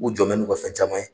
U jɔn bɛ n'u ka fɛn caman ye.